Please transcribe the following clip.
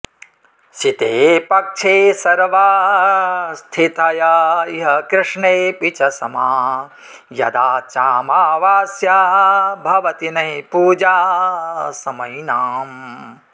सिते पक्षे सर्वास्थिथय इह कृष्णेऽपि च समा यदा चामावास्या भवति न हि पूजा समयिनाम्